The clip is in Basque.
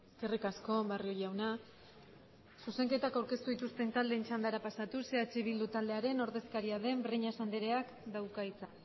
eskerrik asko barrio jauna zuzenketak aurkeztu dituzten taldeen txandara pasatuz eh bildu taldearen ordezkaria den breñas andereak dauka hitza